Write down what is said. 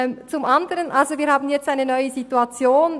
Zum Anderen: Wir haben jetzt eine neue Situation.